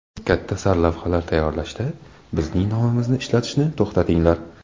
Katta sarlavhalar tayyorlashda bizning nomimizni ishlatishni to‘xtatinglar.